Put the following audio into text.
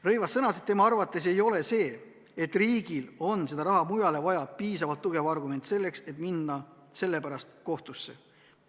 Rõivas sõnas, et tema arvates ei ole see, et riigil on seda raha mujale vaja, piisavalt tugev argument, et minna sellepärast kohtusse.